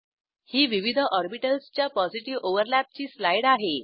ही विविध ऑर्बिटल्सच्या positive overlap ची स्लाईड आहे